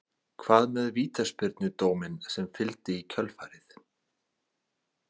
Hvað með vítaspyrnudóminn sem fylgdi í kjölfarið?